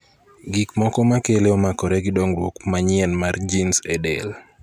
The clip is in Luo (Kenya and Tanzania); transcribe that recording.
Gik moko makele omakore gi dong'ruok manyien mar gins e del.